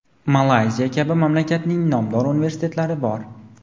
Malayziya kabi mamlakatlarning nomdor universitetlari bor.